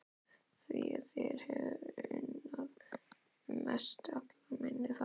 Því þér hef ég unnað mest allra minna barna.